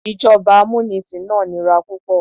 Ìjọba amúnisìn náà nira púpọ̀.